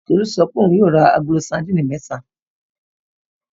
Tolú sọ pé òun yóò ra agolo sadínì mẹ́ta.